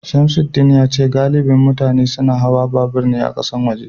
Samsudeen yace galibin mutane suna hawa babur ne a kasashen waje